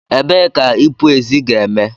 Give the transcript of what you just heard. Ebee ka ipu ezi ga-eme?